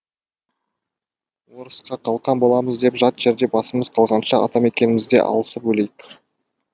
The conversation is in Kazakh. орысқа қалқан боламыз деп жат жерде басымыз қалғанша ата мекенімізде алысып өлейік